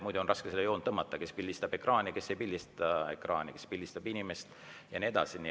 Muidu on raske seda joont tõmmata, kes pildistab ekraani, kes ei pildista ekraani, kes pildistab inimest ja nii edasi.